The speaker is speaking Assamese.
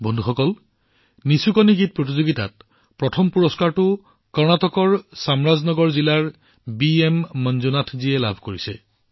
বন্ধুসকল নিচুকনি গীত লিখাৰ প্ৰতিযোগিতাত প্ৰথম পুৰস্কাৰ কৰ্ণাটকৰ চামৰাজনগৰ জিলাৰ বিএম মঞ্জুনাথজীয়ে লাভ কৰিছে